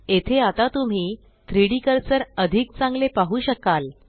येथे आता तुम्ही 3डी कर्सर अधिक चांगले पाहु शकाल